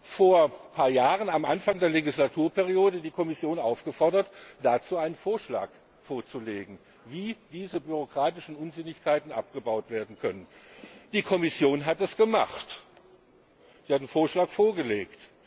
vor ein paar Jahren, am Anfang der Legislaturperiode, die Kommission aufgefordert, einen Vorschlag vorzulegen, wie diese bürokratischen Unsinnigkeiten abgebaut werden können. Die Kommission hat das gemacht, sie hat einen Vorschlag vorgelegt.